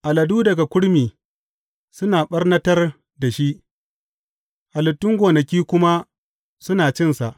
Aladu daga kurmi suna ɓarnatar da shi halittun gonaki kuma suna cinsa.